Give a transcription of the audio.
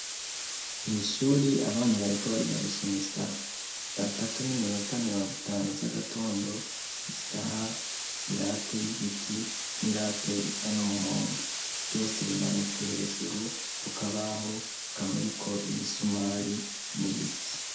Mw'ishure abana bariko bariga gusoma isaha, satatu n'iminota mirongo itanu z'agatondo, isaha, irate y'igiti, n'irate isa n'umuhondo, vyose bimanitse hejuru ku kabaho kamuriko ibisumari n'ibiti.